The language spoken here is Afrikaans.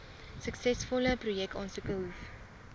suksesvolle projekaansoeke hoef